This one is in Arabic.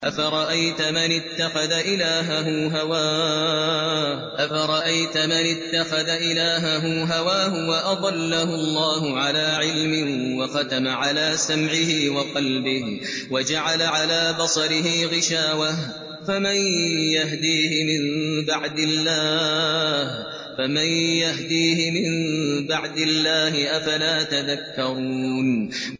أَفَرَأَيْتَ مَنِ اتَّخَذَ إِلَٰهَهُ هَوَاهُ وَأَضَلَّهُ اللَّهُ عَلَىٰ عِلْمٍ وَخَتَمَ عَلَىٰ سَمْعِهِ وَقَلْبِهِ وَجَعَلَ عَلَىٰ بَصَرِهِ غِشَاوَةً فَمَن يَهْدِيهِ مِن بَعْدِ اللَّهِ ۚ أَفَلَا تَذَكَّرُونَ